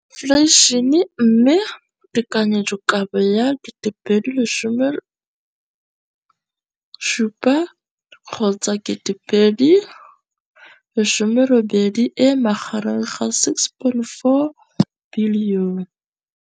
Infleišene, mme tekanyetsokabo ya 2017, 18, e magareng ga R6.4 bilione.